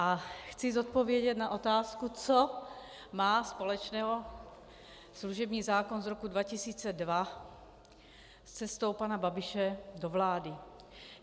A chci odpovědět na otázku, co má společného služební zákon z roku 2002 s cestou pana Babiše do vlády.